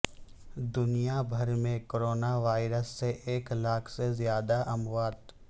دنیا بھر میں کورونا وائرس سے ایک لاکھ سے زیادہ اموات